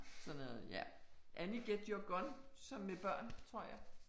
Sådan noget, ja, Annie get your gun så med børn, tror jeg